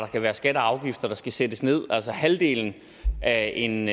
kan være skatter og afgifter der skal sættes nederst altså halvdelen af en